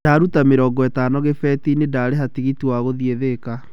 Ndaruta mĩrongo ĩtano gĩbeti-inĩ ndarĩha tigiti wa gũthiĩ Thĩka.